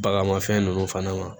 Baganmafɛn ninnu fana ma